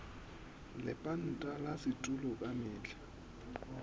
lepanta la setulo ka mehla